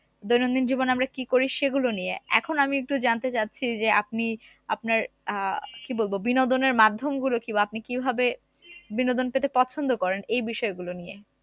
দৈনন্দিন জীবনে আমরা কি করি সেগুলো নিয়ে এখন আমি একটু জানতে চাচ্ছি যে আপনি আপনার আহ কি বলবো বিনোদনের মাধ্যমগুলো কি বা আপনি কিভাবে বিনোদন পেতে পছন্দ করেন এই বিষয়গুলো নিয়ে